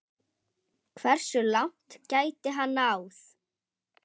Hversu langt gæti hann náð?